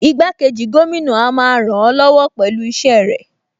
Igbákejì gómìnà a máa ràn-án lọ́wọ́ pẹ̀lú iṣẹ́ rẹ̀